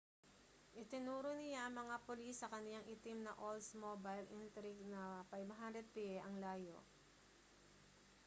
itinuro niya ang mga pulis sa kaniyang itim na oldsmobile intrigue na 500 piye ang layo